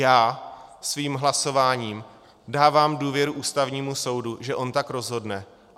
Já svým hlasováním dávám důvěru Ústavnímu soudu, že on tak rozhodne.